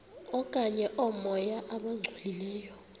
okanye oomoya abangcolileyo